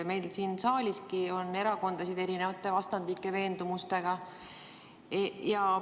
Meil siin saaliski on erakondasid erisuguste, vastandlike veendumustega.